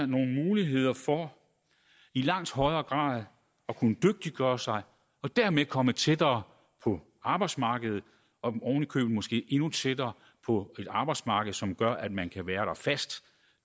nogle muligheder for i langt højere grad at kunne dygtiggøre sig og dermed komme tættere på arbejdsmarkedet og oven i købet måske endnu tættere på et arbejdsmarked som gør at man kan være der fast